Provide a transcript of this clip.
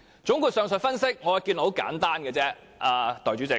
總括上述分析，我的結論很簡單，代理主席。